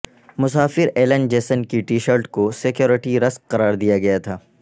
مسافر Alan Jason کی T shirt کو سکیورٹی رسک قرار دیا گیا تھا